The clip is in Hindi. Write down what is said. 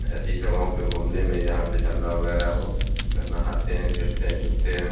ऐसी जगहों पर घूमने में जहां पर झरना वगैरह हो नहाते हैं खेलते हैं कूदते हैं।